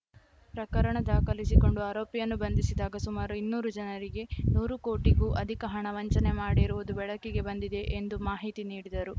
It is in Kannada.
ಪ್ರಕರಣ ದಾಖಲಿಸಿಕೊಂಡು ಆರೋಪಿಯನ್ನು ಬಂಧಿಸಿದಾಗ ಸುಮಾರು ಇನ್ನೂರು ಜನರಿಗೆ ನೂರು ಕೋಟಿಗೂ ಅಧಿಕ ಹಣ ವಂಚನೆ ಮಾಡಿರುವುದು ಬೆಳಕಿಗೆ ಬಂದಿದೆ ಎಂದು ಮಾಹಿತಿ ನೀಡಿದರು